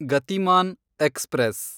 Gatimaan express